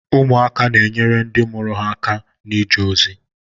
Ụmụaka na-enyere ndị mụrụ ha aka na-ije ozi.